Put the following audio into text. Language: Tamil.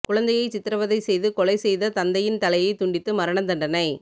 குழந்தையை சித்ரவதை செய்து கொலை செய்த தந்தையின் தலையை துண்டித்து மரண தண்டனை